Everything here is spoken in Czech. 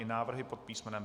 I návrhy pod písm.